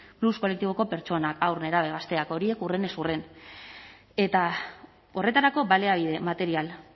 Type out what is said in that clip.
más kolektiboko pertsonak haur nerabe gazteak horiek hurrenez hurren eta horretarako baliabide material